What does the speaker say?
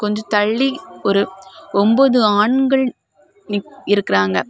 கொஞ்ச தள்ளி ஒரு ஒன்பது ஆண்கள் இருக்கறாங்க.